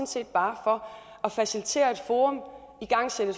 set bare for at facilitere et forum igangsætte